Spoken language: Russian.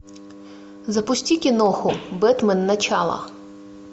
запусти киноху бэтмен начало